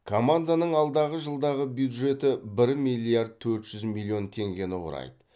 команданың алдағы жылдағы бюджеті бір миллиард төрт жүз миллион теңгені құрайды